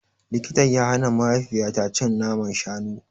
Likita ya hana mahaifiyata cin naman shanu.